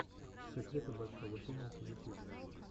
секреты большого тенниса ютьюб